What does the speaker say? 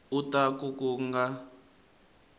u ta ku ku nga